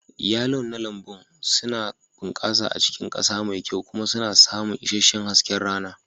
Yalon na lambun suna bunƙasa a cikin ƙasa mai kyau kuma suna samun isasshen hasken rana.